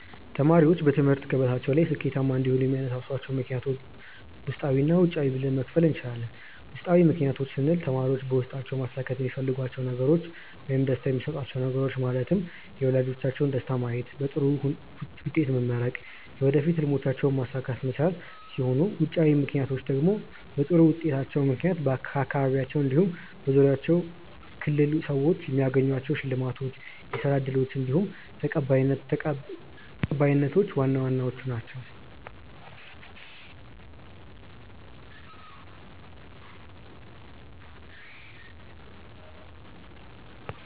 ተማሪዎች በትምህርት ገበታቸው ላይ ስኬታማ እንዲሆኑ የሚያነሳሷቸውን ምክንያቶች ውስጣዊ እና ውጫዊ ብለን መክፈል እንችላለን። ውስጣዊ ምክንያቶች ስንል ተማሪዎች በውስጣቸው ማሳካት የሚፈልጓቸውን ነገሮች ውይም ደስታ የሚሰጧቹው ነገሮች ማለትም የወላጆቻቸውን ደስታ ማየት፣ በጥሩ ውጤት መመረቅ፣ የወደፊት ህልሞቻቸውንም ማሳካት መቻል ሲሆኑ ውጫዊ ምክንያቶቻቸው ደግሞ በጥሩ ውጤታቸው ምክንያት ከአካባቢያቸው እንዲሁም በዙሪያቸው ክልል ሰዎች የሚያገኟቸው ሽልማቶች፣ የስራ እድሎች እንዲሁም ተቀባይነቶች ዋና ዋናዎቹ ናችው።